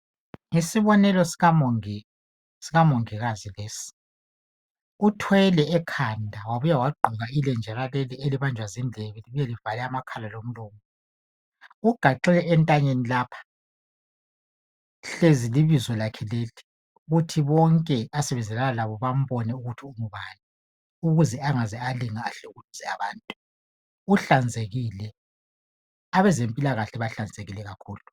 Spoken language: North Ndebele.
Yisibonelo sikamongikazi lesi , uthwele ekhanda wabuya njalo wagqoka ilenjana elivala indlebe ,laphinda lavala amakhala lomlomo ,ulebizo lakhe elitshengisa ukuba ngubani ,uhlanzekile abezempilakahle bahlanzekile kakhulu.